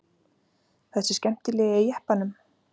Þessi skemmtilegi í jeppanum?